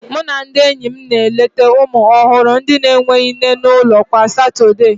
Mụ na ndị enyi m na-eleta ụmụ ọhụrụ na-enweghị nne n'ụlọ kwa Satọde